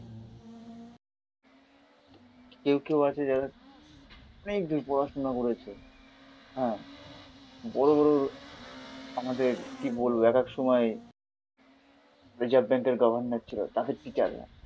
কেউ কেউ আছে যারা অনেকদূর পড়াশুনা করেছে হম বড়োবড়ো আমাদের কি বলবো একএক সময় রিজার্ভ ব্যাংকের গভর্নর ছিল তাদের টিচাররা